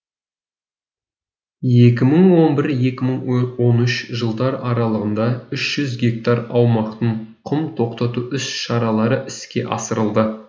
екі мың он бір екі мың он үш жылдар аралығында үш жүз гектар аумақтың құм тоқтату іс шаралары іске асырылды